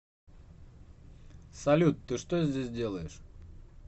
салют ты что здесь делаешь